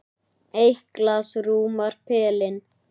Eitt glas rúmar pelinn.